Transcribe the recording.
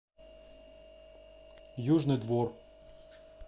южный двор